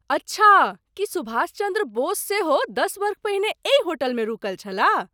अच्छा! की सुभाष चन्द्र बोस सेहो दश वर्ष पहिने एहि होटलमे रुकल छलाह?